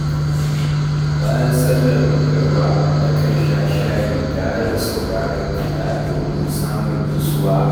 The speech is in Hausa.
Bayan sallar magriba, nakan sha shayi tare da sauraron kiɗa domin samun nutsuwa.